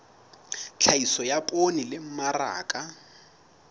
tlhahiso ya poone le mmaraka